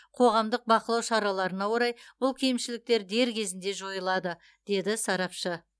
қоғамдық бақылау шараларына орай бұл кемшіліктер дер кезінде жойылады деді сарапшы